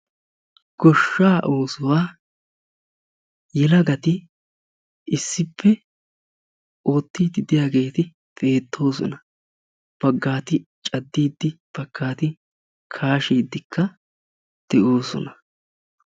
Goshsha oosuwaa yelagati issippe oottidi de'iyaageeti beettosona; baggati cadiddi baggati kashshidi de'oosona.